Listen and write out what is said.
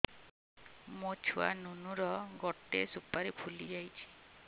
ମୋ ଛୁଆ ନୁନୁ ର ଗଟେ ସୁପାରୀ ଫୁଲି ଯାଇଛି